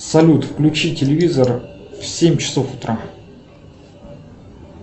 салют включи телевизор в семь часов утра